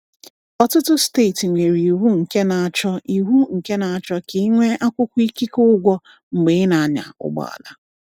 Ọtụtụ steeti nwere iwu nke na-achọ iwu nke na-achọ ka ị nwee akwụkwọ ikike ụgwọ mgbe ị na-anya ụgbọala.